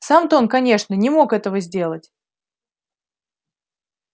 сам то он конечно не мог это сделать